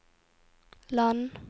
land